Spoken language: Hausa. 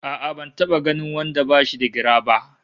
A'a ban taba ganin wanda bashi da gira ba!